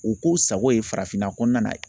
U k'u sago ye farafinna kɔnɔna na